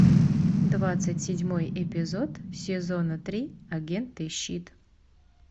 двадцать седьмой эпизод сезона три агенты щит